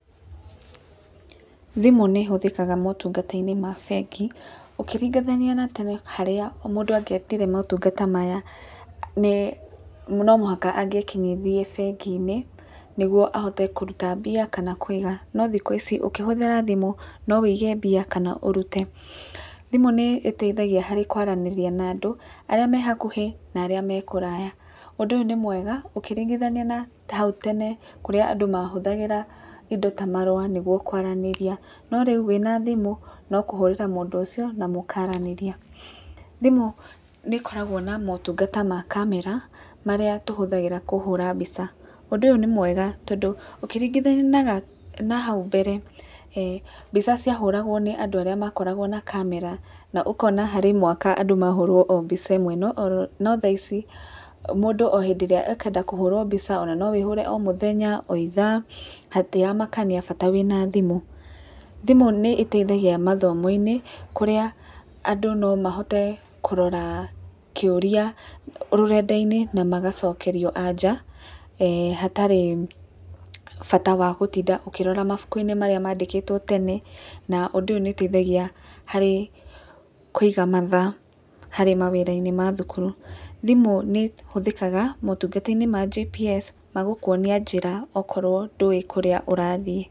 Thimũ nĩ hũthĩkaga motungata-inĩ ma bengi ũkĩringithania na tene harĩa mũndũ angĩendire motungata maya nĩ , no mũhaka angĩekinyirie bengi-inĩ nĩguo ahote kũruta mbia kana kũiga no thikũ ici ũkĩhũthĩra thimũ no wũige mbia kana ũrute. Thimũ nĩ teithagia harĩ kwaranĩria na andũ arĩa me hakuhĩ na arĩa me kũraya ũndũ nĩ mwega ũkĩringithania ya hau tene kũrĩa andũ mahũthagĩra indo ta marũa nĩguo kwaranĩria, no rĩu wĩna thimũ no kũhũrĩra mũndũ ũcio na mũkaranĩria. Thimũ nĩkoragwo na motungata ma kamera marĩa tũhũthagĩra kũhũra mbica, ũndũ ũyũ nĩ mwega ũkĩringithania na hau mbere, mbica cia hũragwo nĩ andũ arĩa marĩ na kamera na ũkona harĩ mwaka andũ mahũrwo mbica o ĩmwe no tha ici mũndũ o hĩndĩ ĩrĩa a kwenda kũhũrwo mbica ona no wĩhũre o mũthenya o ithaa, ona hatiramakania bata wĩna thimũ. Thimũ nĩ ĩteithagia mathomoinĩ kũrĩa andũ no mahote kũrora kĩũria rũrenda-inĩ na magacokerio anja hatarĩ bata wa gũtinda ũkĩrora mabuku-inĩ marĩa madĩkĩtwo tene na ũndũ ũyũ nĩ ũteithagia harĩ kũiga mathaa harĩ mawĩra-inĩ ma thukuru. Thimũ nĩ hũthĩkaga motungata-inĩ ma GPS magũkwonia njĩra angĩkorwo ndũĩ kũrĩa ũrathiĩ.